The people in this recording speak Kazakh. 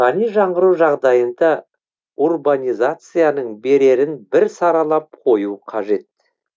рухани жаңғыру жағдайында урбанизацияның берерін бір саралап қою қажет